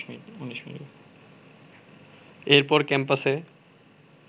এরপর ক্যাম্পাসে